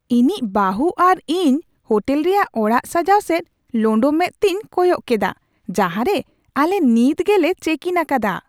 ᱤᱧᱤᱡ ᱵᱟᱹᱦᱩ ᱟᱨ ᱤᱧ ᱦᱳᱴᱮᱞ ᱨᱮᱭᱟᱜ ᱚᱲᱟᱜ ᱥᱟᱡᱟᱜ ᱥᱮᱫ ᱞᱳᱸᱰᱳ ᱢᱮᱸᱫᱛᱤᱧ ᱠᱚᱭᱚᱜ ᱠᱮᱫᱟ ᱡᱟᱦᱟᱸ ᱨᱮ ᱟᱞᱮ ᱱᱤᱛ ᱜᱮᱞᱮ ᱪᱮᱠᱼᱤᱱ ᱟᱠᱟᱫᱟ ᱾